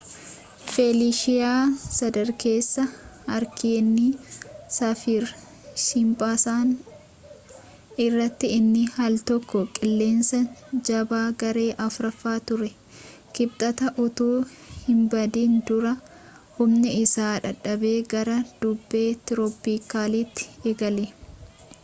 feliishiyaa sadarkeessa haariikeenii saafir-siimpsan irratti inni aal tokko qilleensa jabaa garee 4ffaa ture kibxata utuu hinbadin dura humni isaa dadhabee gara bubbee tirooppikaalaatti gale